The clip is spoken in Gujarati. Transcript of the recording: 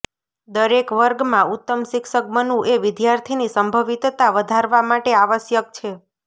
દરેક વર્ગમાં ઉત્તમ શિક્ષક બનવું એ વિદ્યાર્થીની સંભવિતતા વધારવા માટે આવશ્યક છે